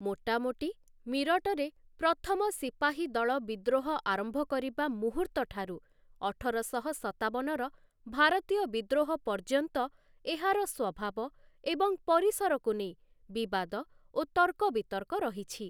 ମୋଟାମୋଟି, ମିରଟରେ ପ୍ରଥମ ସିପାହୀଦଳ ବିଦ୍ରୋହ ଆରମ୍ଭ କରିବା ମୁହୂର୍ତ୍ତ ଠାରୁ, ଅଠରଶହ ସତାବନର ଭାରତୀୟ ବିଦ୍ରୋହ ପର୍ଯ୍ୟନ୍ତ, ଏହାର ସ୍ୱଭାବ ଏବଂ ପରିସରକୁ ନେଇ ବିବାଦ ଓ ତର୍କବିତର୍କ ରହିଛି ।